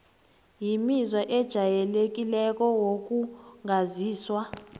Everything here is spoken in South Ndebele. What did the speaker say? imizwa ejayelekileko wokungazizwa